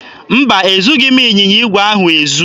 Mba, ezughị m ịnyịnya igwe ahụ ezu.